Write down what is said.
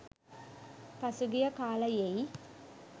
පසුගිය කාලයෙයි.